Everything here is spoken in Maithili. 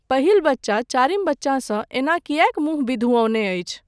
पहिल बच्चा चारिम बच्चासँ एना किएक मुँह बिधुऔने अछि।